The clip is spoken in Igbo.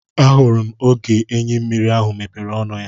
Ahụrụ oge enyi mmiri ahụ mepere ọnụ ya.